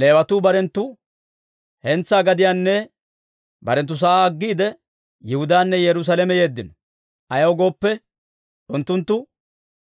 Leewatuu barenttu hentsaa gadiyaanne barenttu sa'aa aggiide, Yihudaanne Yerusaalame yeeddino. Ayaw gooppe, unttunttu